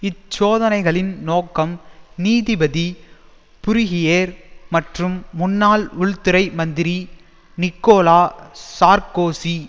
இச்சோதனைகளின் நோக்கம் நீதிபதி புருகியேர் மற்றும் முன்னாள் உள்துறை மந்திரி நிக்கோலா சார்க்கோசி